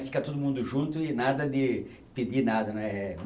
Fica todo mundo junto e nada de pedir nada, né? eh